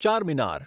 Charminar